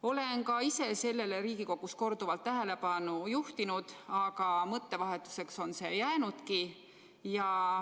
Olen ka ise sellele Riigikogus korduvalt tähelepanu juhtinud, aga mõttevahetuseks on see jäänudki.